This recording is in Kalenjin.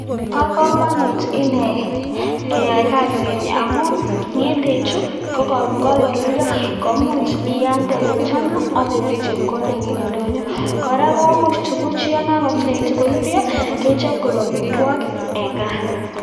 Bokomonut inee keyoe kasini amun ng'ende chuu ko koron kokoruryo komuch ialde yechang'a abeisich chepkondok en indonyo, kora komuch tukuchu yoon kakoit koruryo kechop koik amitwokik en kaa.